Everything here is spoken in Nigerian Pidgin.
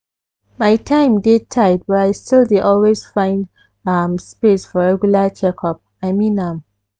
my time dey tight but i still dey always find um space for regular checkup i mean am.